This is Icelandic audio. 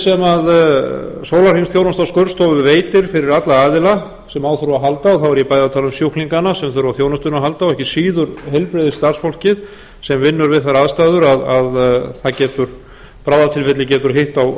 skurðstofu öryggið sem sólarhringsþjónusta á skurðstofu veitir fyrir alla aðila sem á þurfa að halda og þá er ég bæði að tala um sjúklingana sem þurfa á þjónustunni að halda og ekki síður heilbrigðisstarfsfólkið sem vinnur við þær aðstæður að bráðatilfelli getur hitt á